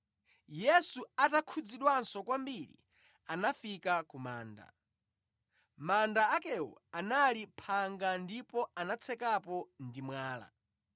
Yesu atakhudzidwanso kwambiri anafika ku manda. Manda akewo anali phanga ndipo anatsekapo ndi mwala.